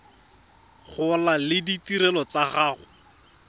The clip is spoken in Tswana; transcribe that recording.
gola le ditirelo tsa go